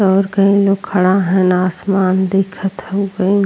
और कई लोग खड़ा हैन। आसमान दिखत हउवे।